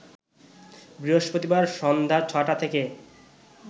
বৃহস্পতিবার সন্ধ্যা ৬টা থেকে